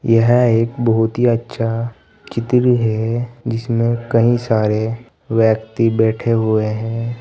यह एक बहुत ही अच्छा चित्र है जिसमें कई सारे व्यक्ति बैठे हुए हैं।